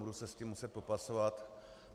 Budu se s tím muset popasovat.